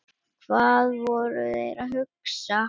Hvað voru þeir að hugsa?